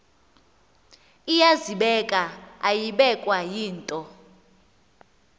iyazibeka ayibekwa yinto